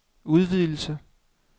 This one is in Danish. udvidelse